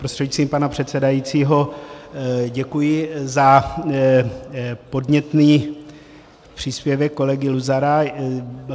Prostřednictvím pana předsedajícího děkuji za podnětný příspěvek kolegy Luzara.